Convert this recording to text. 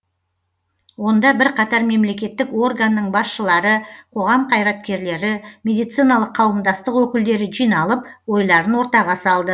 онда бірқатар мемлекеттік органның басшылары қоғам қайраткерлері медициналық қауымдастық өкілдері жиналып ойларын ортаға салды